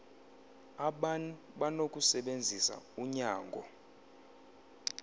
aban banokusebenzisa unyango